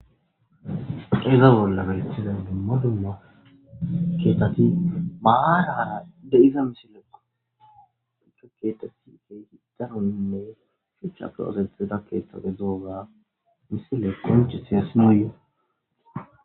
Iza bolla beeththiza dumma dumma keeththathi maaraara de7iza misilekoo;he keeththathi keehi daronne shuchchappe ooseththida keeththa gidoogaa misilee qonccisses nuuyyoo.